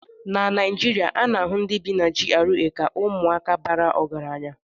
na Naijiria, ana-ahụ ndị bi na GRA ka ụmụaka bara ọgaranya